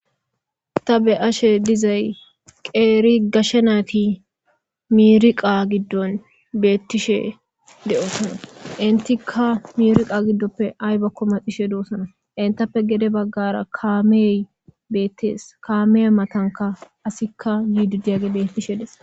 Ta be ashe dizay qeeri gashe nayti miriqa giddon beettishe de'oosana intikka mirqa giddoppe ay bakko maxishe doossana intappe gede baggara kaamey beettees kame matanka asikka yididiyagi bettishe des.